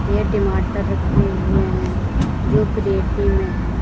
यह टमाटर रखे हुए हैं जो क्रेटी में है।